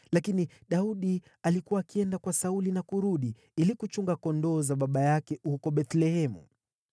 lakini Daudi alikuwa akienda kwa Sauli na kurudi ili kuchunga kondoo wa baba yake huko Bethlehemu.